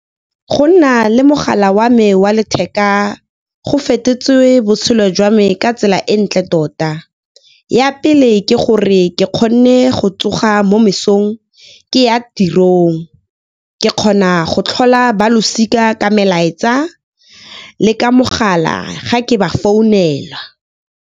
Go nna le mogala wa me wa letheka go fetotswe botshelo jwa me ka tsela e ntle tota. Ya pele ke gore ke kgone go tsoga mo mesong ke ya tirong, ke kgona go tlhola ba losika ka melaetsa le ka mogala ga ke ba founela.